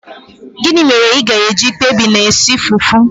Gịnị mere ị ga-eji kpebie na-esi fufu?